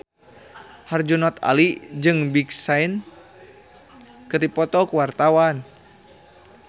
Herjunot Ali jeung Big Sean keur dipoto ku wartawan